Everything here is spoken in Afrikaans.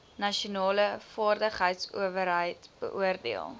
nasionale vaardigheidsowerheid beoordeel